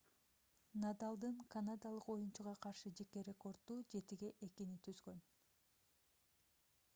надалдын канадалык оюнчуга каршы жеке рекорду 7-2 түзгөн